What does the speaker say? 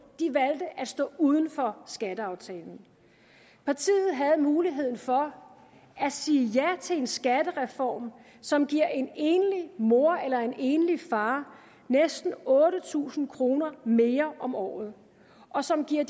at stå uden for skatteaftalen partiet havde muligheden for at sige ja til en skattereform som giver en enlig mor eller en enlig far næsten otte tusind kroner mere om året og som giver